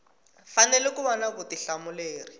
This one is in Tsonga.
fanele ku va na vutihlamuleri